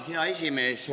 Hea esimees!